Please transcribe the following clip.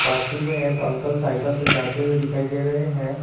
पास ही में एक अंकल साइकल से जाते हुए दिखाई दे रहे हैं।